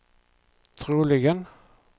troligen